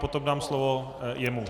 Potom dám slovo jemu.